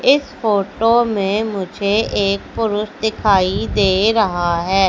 इस फोटो में मुझे एक पुरुष दिखाई दे रहा है।